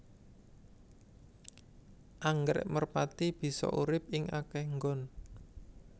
Anggrèk merpati bisa urip ing akéh nggon